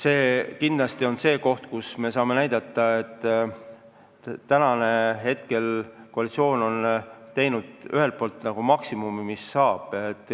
See kindlasti on samm, mida astudes koalitsioon on teinud maksimumi, mis teha on saanud.